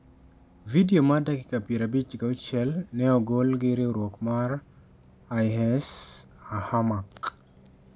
Vidio mar dakika 56 ne ogol gi riwruok mar IS Amaq.